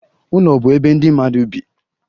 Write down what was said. Ụlọ bụ ebe ndị mmadụ bi.